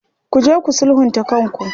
Ku je ku sulhunta kanku.